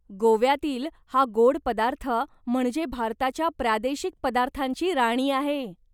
गोव्यातील हा गोड पदार्थ म्हणजे भारताच्या प्रादेशिक पदार्थांची राणी आहे.